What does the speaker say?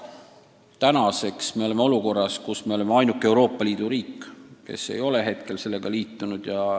Aga praegu me oleme ainuke Euroopa Liidu riik, kes veel ei ole sellega liitunud.